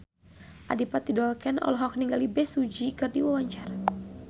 Adipati Dolken olohok ningali Bae Su Ji keur diwawancara